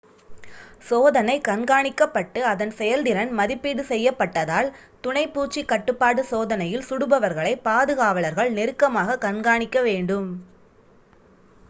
சோதனை கண்காணிக்கப்பட்டு அதன் செயல்திறன் மதிப்பீடு செய்யப்பட்டதால் துணை பூச்சி கட்டுப்பாடு சோதனையில் சுடுபவர்களை பாதுகாவலர்கள் நெருக்கமாக கண்காணிக்க வேண்டும்